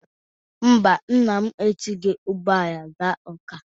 Mba, nna m esighi ụgbọala gaa Ọ́ká.